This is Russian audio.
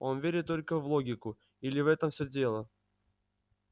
он верит только в логику или в этом все дело